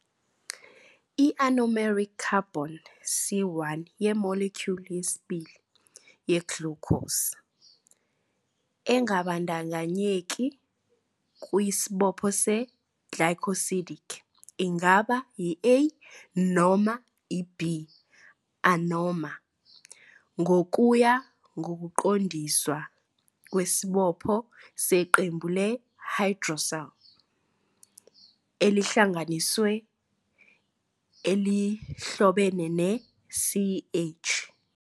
I-anomeric carbon, C1, ye-molecule yesibili ye-glucose, engabandakanyeki kwisibopho se-glycosidic, ingaba yi-α- noma i-β-anomer ngokuya ngokuqondiswa kwesibopho seqembu le-hydroxyl elihlanganisiwe elihlobene ne-CH